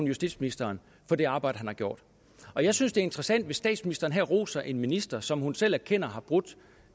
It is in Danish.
justitsministeren for det arbejde han har gjort og jeg synes det er interessant hvis statsministeren her roser en minister som hun selv erkender har brudt